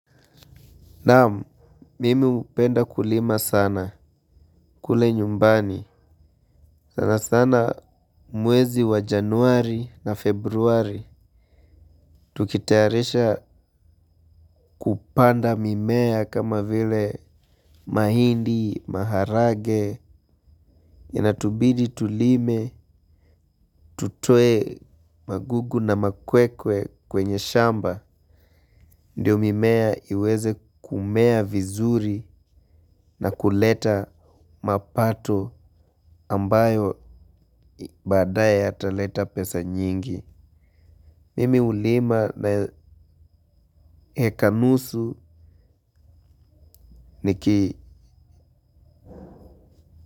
Naam, mimi hupenda kulima sana kule nyumbani. Sana sana mwezi wa januari na februari. Tukitayarisha kupanda mimea kama vile mahindi, maharage. Inatubidi tulime, tutoe magugu na makwekwe kwenye shamba. Ndio mimea iweze kumea vizuri na kuleta mapato ambayo badae yataleta pesa nyingi. Mimi hulima na heka nusu ni kii.